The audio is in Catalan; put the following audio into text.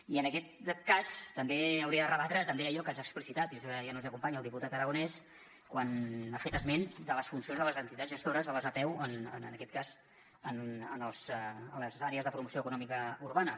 i en aquest cas també hauria de rebatre també allò que ens ha explicitat i ara ja no ens acompanya el diputat aragonés quan ha fet esment de les funcions de les entitats gestores de les apeu en aquest cas de les àrees de promoció econòmica urbana